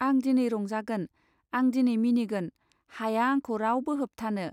आं दिनै रंजागोन आं दिनै मिनिगोन हाया आंखौ रावबो होबथानो.